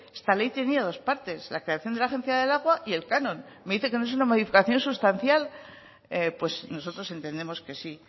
esta ley tenía dos partes la creación de la agencia del agua y el canon y me dice que no es una modificación sustancial pues nosotros entendemos que sí